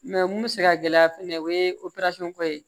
mun bɛ se ka gɛlɛya fɛnɛ o ye ko ye